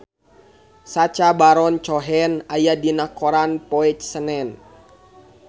Sacha Baron Cohen aya dina koran poe Senen